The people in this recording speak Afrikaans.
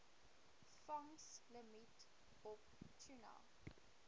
vangslimiet op tuna